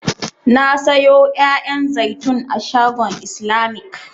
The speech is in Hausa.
Na sayo 'ya'yan zaitun a shagon islamic.